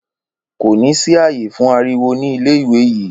Kò ní sí ààyè fún ariwo ní ilé-ìwé yìí.